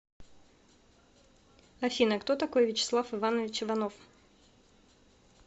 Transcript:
афина кто такой вячеслав иванович иванов